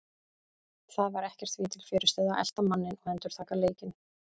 Það var ekkert því til fyrirstöðu að elta manninn og endurtaka leikinn.